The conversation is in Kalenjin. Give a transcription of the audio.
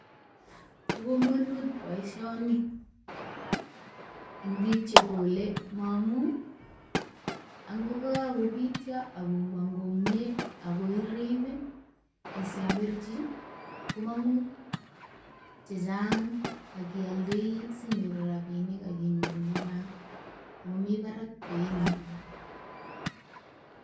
Bo komonut boisioni eng biik che kole momu, angokakobitio akomong komye, akoirib isemberchi komang'u chechang akialdei sinyoru rabinik akinyoru chechang. Ago mi parak beinyi.